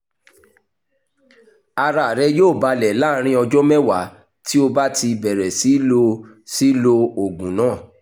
ara rẹ yóò balẹ̀ láàárín ọjọ́ mẹ́wàá tí o bá ti bẹ̀rẹ̀ sí lo sí lo oògùn náà